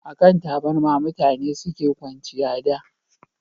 a kan taburma mutane suke kwanciya da